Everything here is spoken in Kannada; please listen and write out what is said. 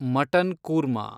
ಮಟನ್ ಕೂರ್ಮಾ